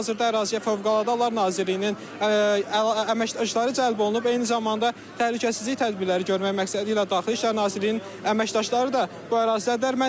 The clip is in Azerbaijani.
Hazırda əraziyə Fövqəladə Hallar Nazirliyinin əməkdaşları cəlb olunub, eyni zamanda təhlükəsizlik tədbirləri görmək məqsədilə Daxili İşlər Nazirliyinin əməkdaşları da bu ərazidədirlər.